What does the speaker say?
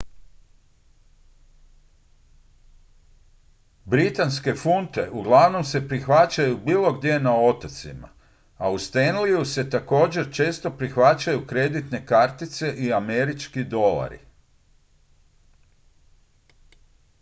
britanske funte uglavnom se prihvaćaju bilo gdje na otocima a u stanleyju se također često prihvaćaju kreditne kartice i američki dolari